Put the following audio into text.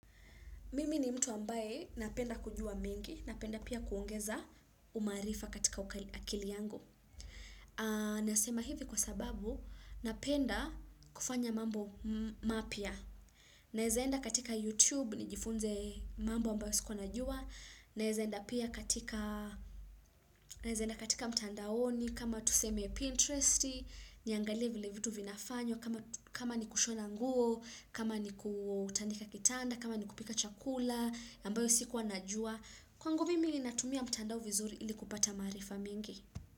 Mimi ni mtu ambaye napenda kujua mengi, napenda pia kuongeza umaarifa katika ukali akili yangu. Nasema hivi kwa sababu, napenda kufanya mambo mapya. Naeza enda katika YouTube, nijifunze mambo ambayo sikuwa najua. Naeza enda pia katika, naeza enda katika mtandaoni, kama tuseme Pinteresti, niangalie vile vitu vinafanywa, kama ni kushona nguo, kama ni kutandika kitanda, kama ni kupika chakula, ambayo sikuwa najua kwangu mimi natumia mtandao vizuri ili kupata maarifa mingi.